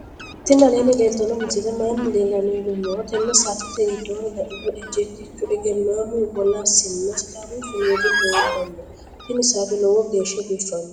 tini aleni leltano misileni maayi leelano yinnumoro. tene satete gidonni la'niro ejjeetichu egeenamu woolasina sidaamu suumuudi lleelano. tini saate loowo gesha bifano.